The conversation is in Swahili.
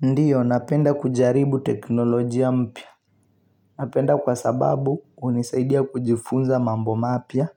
Ndiyo napenda kujaribu teknolojia mpya napenda kwa sababu unisaidia kujifunza mambo mapia